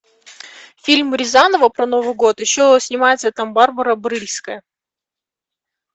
фильм рязанова про новый год еще снимается там барбара брыльска